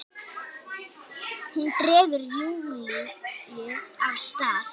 Hún dregur Júlíu af stað.